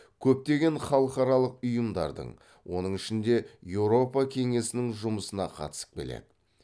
көптеген халықаралық ұйымдардың оның ішінде еуропа кеңесінің жұмысына қатысып келеді